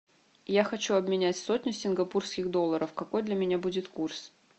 я хочу обменять сотню сингапурских долларов какой для меня будет курс